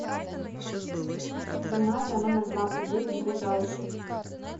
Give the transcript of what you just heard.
гимназия номер двадцать девять ближайший